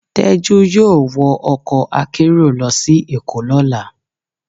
Tejú yọọ wọ ọkọ akerò lọ si Èko lọla.